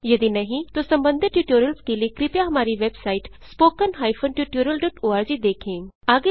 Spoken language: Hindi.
यदि नहीं तो संबंधित ट्यूटोरियल्स के लिए कृपया हमारी वेबसाइट httpspoken tutorialorg देखें